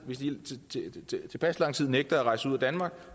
hvis de i tilpas lang tid nægter at rejse ud af danmark